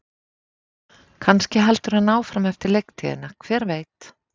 Kannski heldur hann áfram eftir leiktíðina, hver veit?